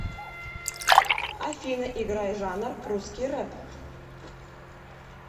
афина играй жанр русский рэп